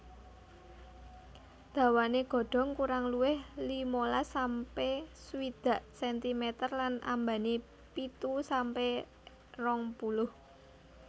Dawané godhong kurang luwih limalas sampe swidak sentimeter lan ambané pitu sampe rong puluh